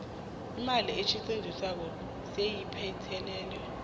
imali esetjenzisiweko seyiphelele